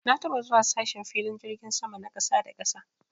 Na taɓa zuwa sashen filin jirgin sama na ƙasa da ƙasa.